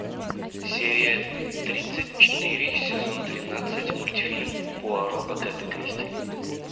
серия тридцать четыре сезон тринадцать мультфильм пуаро агаты кристи